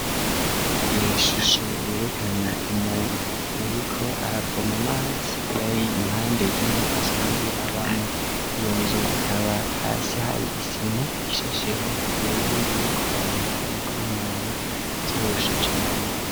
Ishusho yerekana umuntu yariko aravoma amazi yari impande y'inzu asanzwe abamwo, iyo nzu ikaba hasi hari isima ishasheho ku buryo bw'uko abantu bashobora kurengana vyoroshe cane.